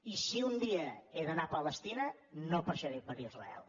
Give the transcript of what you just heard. i si un dia he d’anar a palestina no passaré per israel